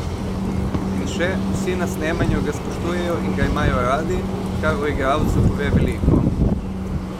In še: "Vsi na snemanju ga spoštujejo in ga imajo radi, kar o igralcu pove veliko.